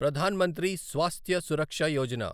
Pradhan Mantri Swasthya Suraksha Yojana